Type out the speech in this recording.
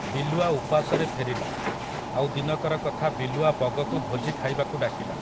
ବିଲୁଆ ଉପାସରେ ଫେରିଲା, ଆଉ ଦିନକର କଥା ବିଲୁଆ ବଗକୁ ଭୋଜି ଖାଇବାକୁ ଡାକିଲା ।